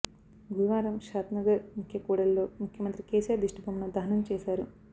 గురువారం షాద్నగర్ ముఖ్య కూడలిలో ముఖ్యమంత్రి కేసీఆర్ దిష్టిబొమ్మను దహనం చేశారు